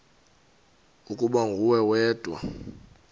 ukuba nguwe wedwa